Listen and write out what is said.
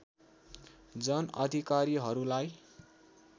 जन अधिकारीहरूलाई